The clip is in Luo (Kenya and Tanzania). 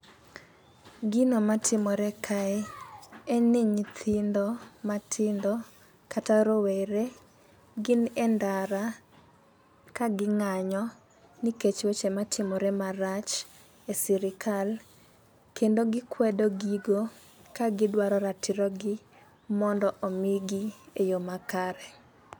Gino matimore kae, en ni nyithindo matindo, kata rowere gin e ndara ka ging'anyo nikech weche matimore marach e sirikal. Kendo gikwedo gigo ka gidwaro ratirogi mondo omigi e yoo makare.